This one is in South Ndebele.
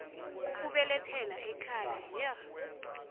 ukubelethela ekhaya yir